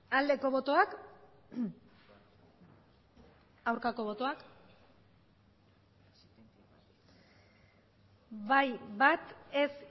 aldeko botoak aurkako botoak bai bat ez